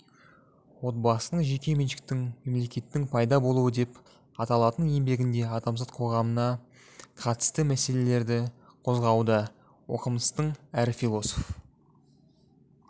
отбасының жеке меншіктің мемлекеттің пайда болуыдеп аталатын еңбегінде адамзат қоғамына қатысты мәселелерді қозғауда оқымыстының әрі философ